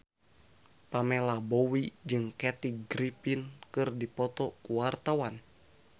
Pamela Bowie jeung Kathy Griffin keur dipoto ku wartawan